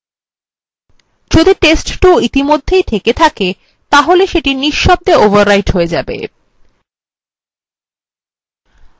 যদি test2 ইতিমধ্যেই থেকে থাকে তাহলে if: শব্দভাবে overwrite হয়ে যায়